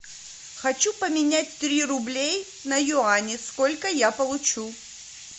хочу поменять три рублей на юани сколько я получу